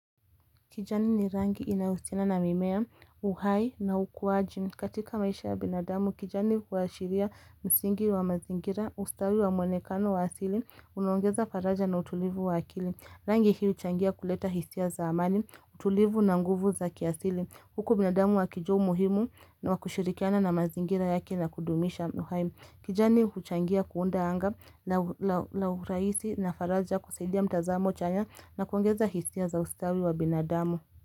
Kijani ni rangi inayohusiana na mimea uhai na ukuwaji. Katika maisha ya binadamu, kijani kuashiria msingi wa mazingira ustawi wa mwonekano wa asili. Unaongeza faraja na utulivu wa akili. Rangi hii huu changia kuleta hisia za amani, utulivu na nguvu za kiasili. Huku binadamu wakijua umuhimu wakushirikiana na mazingira yake na kudumisha uhai. Kijani huchangia kuunda anga lauraisi na faraja kusaidia mtazamo chanya na kuongeza hisia za ustawi wa binadamu.